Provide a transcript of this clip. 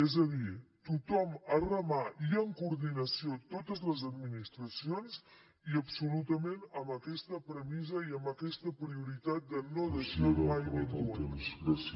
és a dir tothom a remar i en coordinació totes les administracions i absolutament amb aquesta premissa i amb aquesta prioritat de no deixar mai ningú enrere